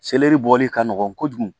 Seleri bɔli ka nɔgɔn kojugu